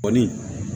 Kɔni